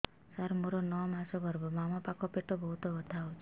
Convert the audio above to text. ସାର ମୋର ନଅ ମାସ ଗର୍ଭ ବାମପାଖ ପେଟ ବହୁତ ବଥା ହଉଚି